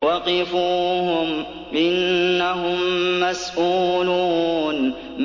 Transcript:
وَقِفُوهُمْ ۖ إِنَّهُم مَّسْئُولُونَ